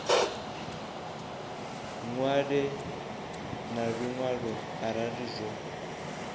ṅwale na luṅwalo arali zwo